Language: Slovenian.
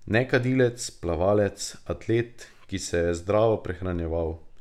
Nekadilec, plavalec, atlet, ki se je zdravo prehranjeval.